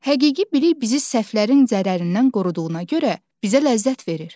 Həqiqi bilik bizi səhvlərin zərərindən qoruduğuna görə bizə ləzzət verir.